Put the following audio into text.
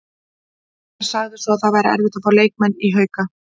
Hver sagði svo að það væri erfitt að fá leikmenn í Hauka?